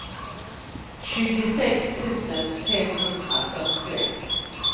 tjugosex tusen femhundrafyrtioett